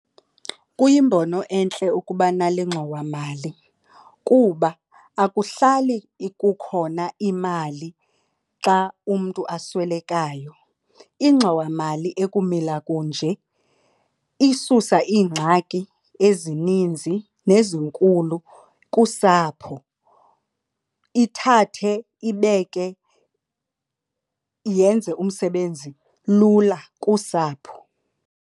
Kuyimbono entle ukuba nale ngxowamali kuba akuhlali kukhona imali xa umntu aswelekayo. Ingxowamali ekumila kunje isusa iingxaki ezininzi nezinkulu kusapho, ithathe ibeke yenze umsebenzi lula kusapho.